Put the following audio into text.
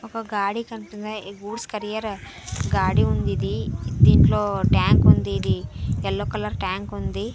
ఒక గాడి కనిపినయ్ గూడ్స్ క్యరియర్ గాడి ఉంది ఇది దీంట్లో ట్యాంక్ ఉంది ఇది యెల్లో కలర్ ట్యాంక్ ఉంది.